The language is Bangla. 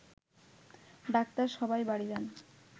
ডাক্তার সবাই বাড়ি যায়